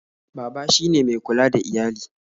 Baba shi ne mai kula da iyali